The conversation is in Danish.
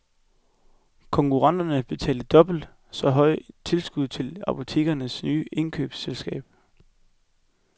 Konkurrenterne betaler dobbelt så høje tilskud til apotekernes nye indkøbsselskab.